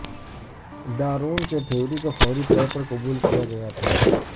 Darwin کے theory کو فوری طور پر قبول کیا گیا تھا